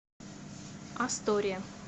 астория